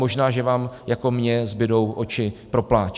Možná že vám jako mně zbudou oči pro pláč.